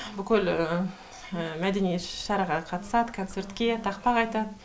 бүкіл мәдени іс шараға қатысады концертке тақпақ айтады